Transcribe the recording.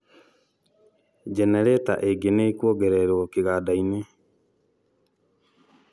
jenereta ĩngĩ nĩ ĩkuongererwo kĩgandainĩ